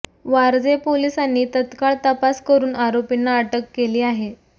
वारजे पोलिसांनी तत्काळ तपास करुन आरोपींना अटक केली आहे